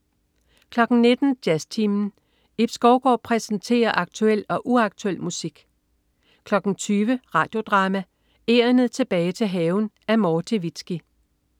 19.00 Jazztimen. Ib Skovgaard præsenterer aktuel og uaktuel musik 20.00 Radio Drama: Egernet tilbage til haven. Af Morti Vizki